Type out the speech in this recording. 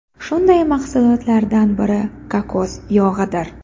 Shunday mahsulotlardan biri kokos yog‘idir.